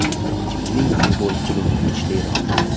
Kimning futbol klubi kuchliroq?.